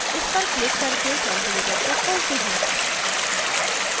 इस पर क्लिक करके calculator को खोलते हैं